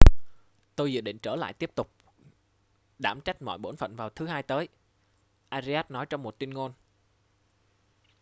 tôi dự định trở lại tiếp tục đảm trách mọi bổn phận vào thứ hai tới arias nói trong một tuyên ngôn